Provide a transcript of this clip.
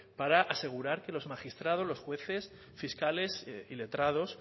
para asegurar que los magistrados los jueces fiscales y letrados